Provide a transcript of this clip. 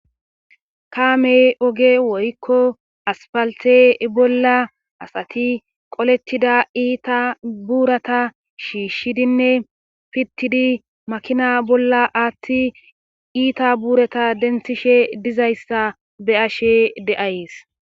kaamey oge woykko aspalte bolla asati qolettida iita buurata shiishshidinne pittidi makina bolla aatti iita buurata denthishe dizayssa be7ashe de7ays